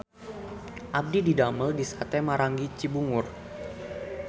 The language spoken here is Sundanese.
Abdi didamel di Sate Maranggi Cibungur